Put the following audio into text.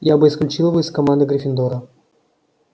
я бы исключил его из команды гриффиндора